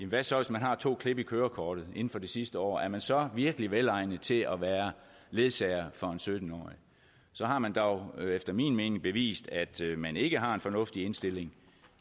hvad så hvis man har to klip i kørekortet inden for det sidste år er man så virkelig velegnet til at være ledsager for en sytten årig så har man dog efter min mening bevist at man ikke har en fornuftig indstilling